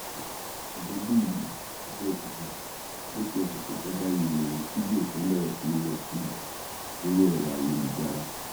àdèmàkè àdébíyì abẹòkúta lópin ọsẹ tó kọjá yìí ní fídíò kan bẹrẹ sí í lọ kiri lórí ẹrọ ayélujára